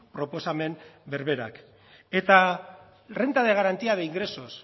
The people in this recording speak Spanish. proposamen berberak eta renta de garantía de ingresos